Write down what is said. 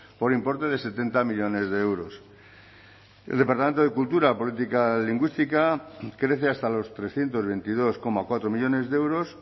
por importe de setenta millónes de euros el departamento de cultura política lingüística crece hasta los trescientos veintidós coma cuatro millónes de euros